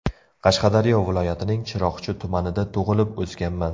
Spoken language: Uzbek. Qashqadaryo viloyatining Chiroqchi tumanida tug‘ilib, o‘sganman.